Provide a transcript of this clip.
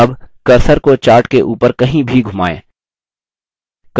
अब cursor को chart के ऊपर कहीं भी घुमाएँ